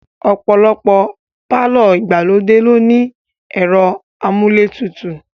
Ọ̀pọ̀lọpọ̀ pàlọ́ ìgbàlódé ló ní ẹ̀rọ amúlé tutù